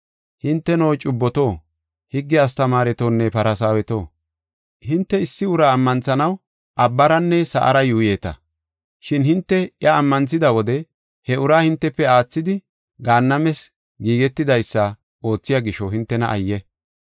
“Hinteno, cubboto, higge astamaaretonne Farsaaweto, hinte issi uraa ammanthanaw abbaranne sa7ara yuuyeta. Shin hinte iya ammanthida wode he uraa hintefe aathidi Gaannames giigetidaysa oothiya gisho, hintena ayye!